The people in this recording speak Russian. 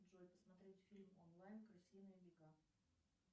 джой посмотреть фильм онлайн крысиные бега